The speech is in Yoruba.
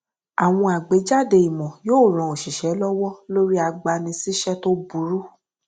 àwọn àgbéjáde ìmò yóò ran oṣìṣẹ lọwọ lórí agbanisíṣẹ tó burú